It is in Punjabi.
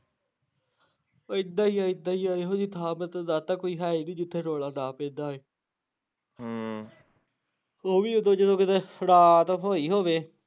ਏਦਾਂ ਈ ਆ ਏਦਾਂ ਈ ਆ ਏਹੋ ਜਹੀ ਥਾਂ ਮੈਂ ਤੇਨੂੰ ਦੱਸਤਾ ਕੋਈ ਹੈ ਈ ਨੀ ਜਿੱਥੇ ਰੌਲਾ ਨਾ ਪੈਂਦਾ ਹੋਏ ਹਮ ਉਹ ਵੀ ਉਦੋਂ, ਜਦੋਂ ਕਦੇ ਰਾਤ ਹੋਈ ਹੋਵੇ